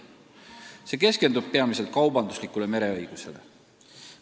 See keskendub peamiselt kaubanduslikule mereõigusele.